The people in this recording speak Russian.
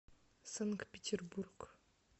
санкт петербург